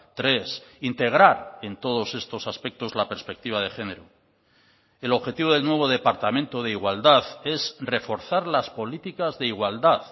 tres integrar en todos estos aspectos la perspectiva de género el objetivo del nuevo departamento de igualdad es reforzar las políticas de igualdad